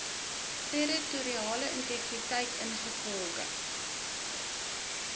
territoriale integriteit ingevolge